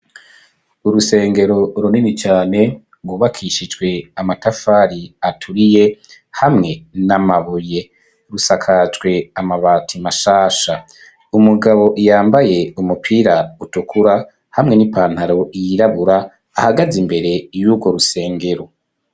Urusengero, runini cane, rwubakishijwe amatafari, aturiye, hamwe n'amabuye; rusakajwe amabati, mashasha; umugabo, yambaye umupira utukura, hamwe n'ipantaro yirabura, ahagaze imbere, y'urwo rusengero.